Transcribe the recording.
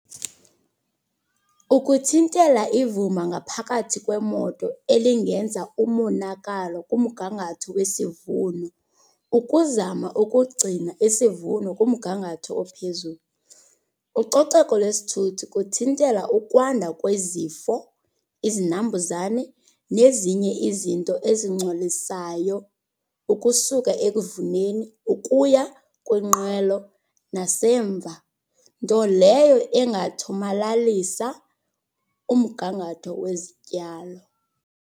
Ukuthintela ivumba ngaphakathi kwemoto elingenza umonakalo kumgangatho wesivuno, ukuzama ukugcina isivuno kumgagatho ophezulu. Ucoceko lwesithuthi kuthintela ukwanda kwezifo, izinambuzane nezinye izinto ezingcolisayo ukusuka ekuvuneni ukuya kwinqwelo nasemva. Nto leyo engathomalalisa umgangatho wezityalo.